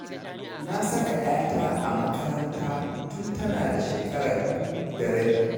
Na saka 'yata a makaranta tun tana da shekara biyu da rabi.